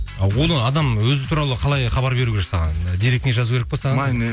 а оны адам өзі туралы қалай хабар беру керек саған директіңе жазу кере пе саған